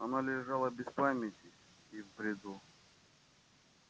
она лежала без памяти и в бреду